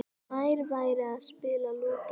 Nær væri að spila Lúdó.